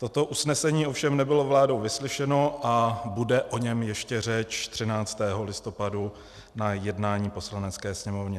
Toto usnesení ovšem nebylo vládou vyslyšeno a bude o něm ještě řeč 13. listopadu na jednání Poslanecké sněmovny.